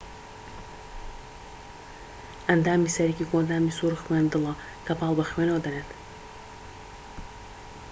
ئەندامی سەرەکی کۆئەندامی سووڕی خوێن دڵە کە پاڵ بە خوێنەوە دەنێت